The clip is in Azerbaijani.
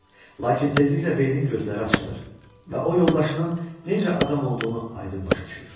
Lakin tezliklə beynin gözləri açılır və o yoldaşının necə adam olduğunu aydın başa düşür.